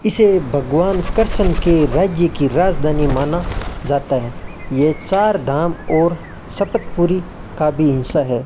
इसे भगवान कृषण की राज्य की राजधानी माना जाता है ये चारधाम और शपत पूरी का भी हिस्सा है।